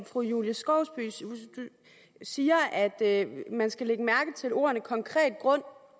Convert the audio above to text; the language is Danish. fru julie skovsby siger at man skal lægge mærke til ordene konkret grund